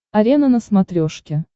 арена на смотрешке